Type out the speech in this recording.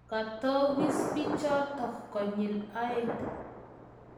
Katokis bichotok konyil aeng